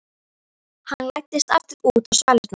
Hann læddist aftur út á svalirnar.